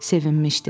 Sevinmişdi.